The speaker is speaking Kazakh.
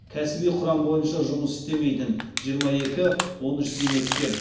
кәсіби құрам бойынша жұмыс істемейтін жиырма екі он үш зейнеткер